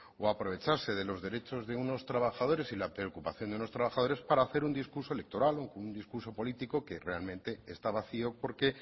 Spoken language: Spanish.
o aprovecharse de los derechos de unos trabajadores y la preocupación de unos trabajadores para hacer un discurso electoral un discurso político que realmente está vacío porque